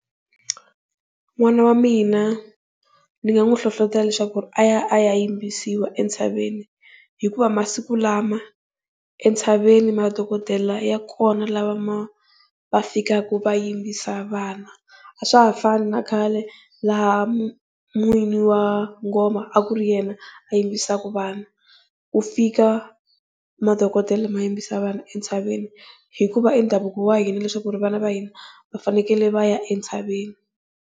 N'wana wa mina ndzi nga n'wi nhlohlotelo leswaku aya a ya yimbisiwa entshaveni hikuva masiku lama entshaveni madhokodele ya kona lama va fikaka va yimbisa vana, a swa ha fani na khale laha n'winyi wa ngoma a ku ri yena yimbisaka vana. Ku fika madhokodele ma yimbisa vana entshaveni hikuva i ndhavuko wa hina leswaku ri vana va hina va fanekele va ya entshaveni.